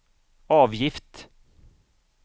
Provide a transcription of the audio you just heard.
avgift